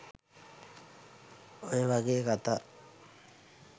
ඔය වගේ කථා